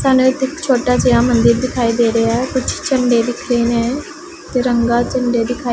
ਸਾਨੂੰ ਇੱਥੇ ਇੱਕ ਛੋਟਾ ਜਿਹਾ ਮੰਦਿਰ ਦਿਖਾਈ ਦੇ ਰਿਹਾ ਹੈ ਕੁੱਛ ਝੰਡੇ ਦਿੱਖ ਰਹੇ ਹੈਂ ਤਿਰੰਗਾ ਝੰਡੇ ਦਿਖਾਈ--